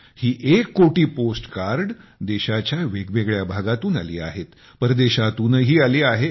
ही एक कोटी postcard देशाच्या वेगवेगळ्या भागातून आली आहेत परदेशातूनही आली आहेत